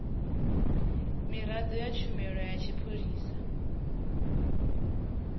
miraḓo ya tshumelo ya tshipholisa